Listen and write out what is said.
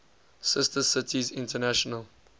sister cities international